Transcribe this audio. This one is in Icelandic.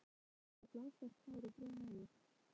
Sérðu, hann er með blásvart hár og brún augu?